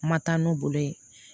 Ma taa n'u bolo ye